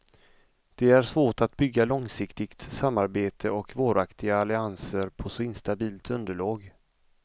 Det är svårt att bygga långsiktigt samarbete och varaktiga allianser på så instabilt underlag.